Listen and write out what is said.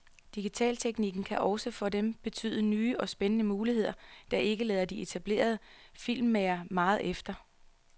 Digitalteknikken kan også for dem betyde nye og spændende muligheder, der ikke lader de etablerede filmmagere meget efter.